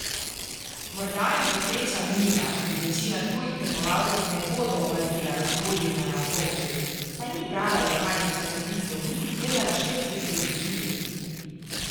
Morda jim bo sreča mila in večina tujih tekmovalcev ne bodo opazila razburjenja na otoku, saj ni brala lokalnih časopisov niti gledala švedske televizije.